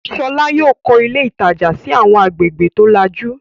Ṣọlá yóò kọ́ ilé ilé-ìtajà sí àwọn agbègbè tó lajú.